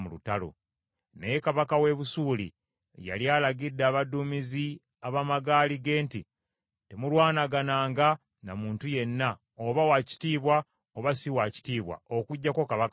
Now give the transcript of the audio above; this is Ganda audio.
Naye kabaka w’e Busuuli yali alagidde abaduumizi ab’amagaali ge nti, “Temulwanagananga na muntu yenna, oba wa kitiibwa oba si wa kitiibwa, okuggyako kabaka wa Isirayiri.”